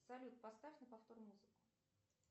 салют поставь на повтор музыку